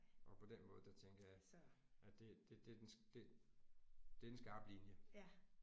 Og på den måde der tænker jeg at det det det den det det er den skarpe linje